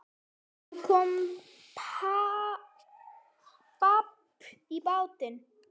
Það kom babb bátinn.